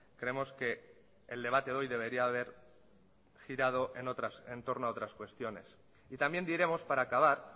creemos que el debate de hoy debería haber girado en torno a otras cuestiones y también diremos para acabar